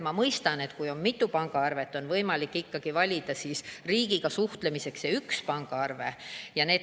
Ma mõistan, et kui on mitu pangaarvet, siis on võimalik valida riigiga suhtlemiseks üks.